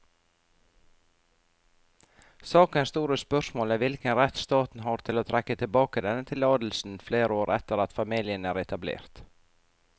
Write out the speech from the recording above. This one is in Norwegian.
Sakens store spørsmål er hvilken rett staten har til å trekke tilbake denne tillatelsen flere år etter at familien er etablert.